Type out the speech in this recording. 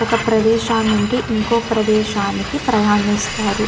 ఒక ప్రదేశా నుండి ఇంకో ప్రదేశానికి ప్రయాణిస్తారు.